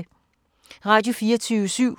Radio24syv